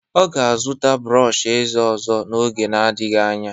Ọ ga-azụta brọọsh ezé ọzọ n'oge adịghị anya.